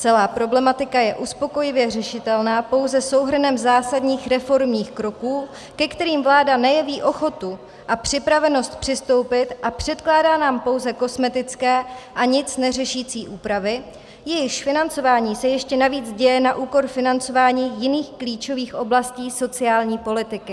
Celá problematika je uspokojivě řešitelná pouze souhrnem zásadních reformních kroků, ke kterým vláda nejeví ochotu a připravenost přistoupit, a předkládá nám pouze kosmetické a nic neřešící úpravy, jejichž financování se ještě navíc děje na úkor financování jiných klíčových oblastí sociální politiky.